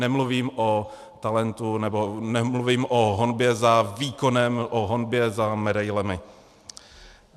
Nemluvím o talentu nebo nemluvím o honbě za výkonem, o honbě za medailemi.